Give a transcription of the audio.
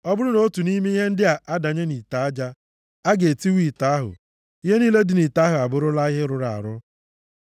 Ọ bụrụ na otu nʼime ihe ndị a adanye nʼite aja, a ga-etiwa ite ahụ. Ihe niile dị nʼite ahụ abụrụla ihe rụrụ arụ.